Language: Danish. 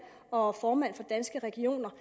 og formand for danske regioner